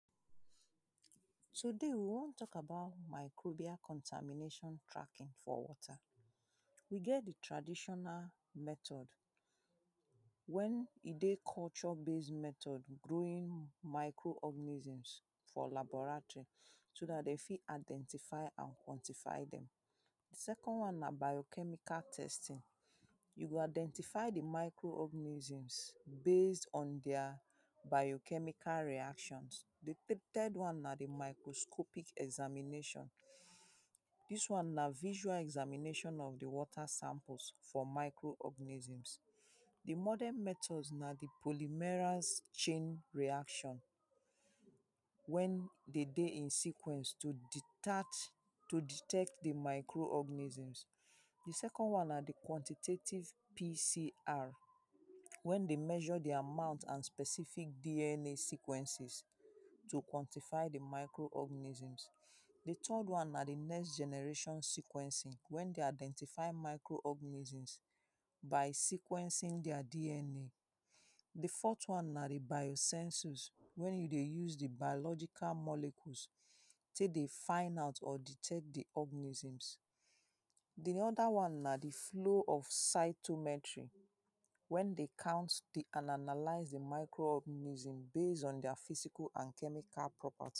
Today we wan talk about microbial contamination tracking for water. We get the traditional method When e dey culture base method growing micro organisim for laboratory. So dat de fit identify and quantify dem. Second one na bio-chemical testing. You go identify the micro organism base on their bio-chemical reactions. The third one na the microscopic examination. Dis one na visual examination of the water samples for micro organism. The modern method na the polymerase chain reaction. When they dey in sequence to detect the micro organism. The second one na the quantitative PCR. When they measure the amount and specific DNA sequences to quantify the micro organism. The third one na the next generation sequencing. When they identify micro organism by sequencing their DNA. The fourth one na the biosensor. When you dey use the biological molecule take dey find out or detect the organism. The other one na the flow of cytometry wey dey count the and analize the micro organism base on their physical and chemical property